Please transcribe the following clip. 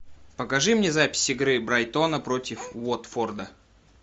покажи мне запись игры брайтона против уотфорда